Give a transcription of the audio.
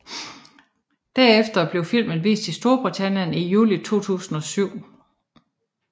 Derefter blev filmen vist i Storbritannien i juli 2007